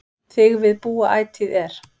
Þig við búa ætíð er